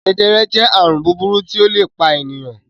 Jẹjẹrẹ jẹ́ àrùn búburú tí ó le pa ènìyàn.